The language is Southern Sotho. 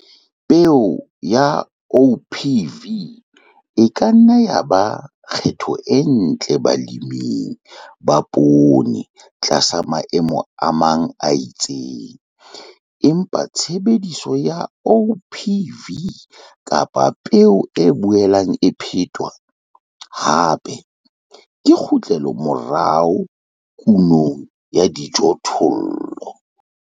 Peo ya OPV e ka nna ya ba kgetho e ntle baleming ba poone tlasa maemo a mang a itseng, empa tshebediso ya OPV kapa peo e boelang e phetwa hape ke kgutlelomorao kunong ya dijothollo.